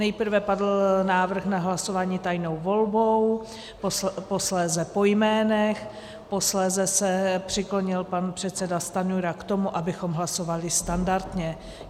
Nejprve padl návrh na hlasování tajnou volbou, posléze po jménech, posléze se přiklonil pan předseda Stanjura k tomu, abychom hlasovali standardně.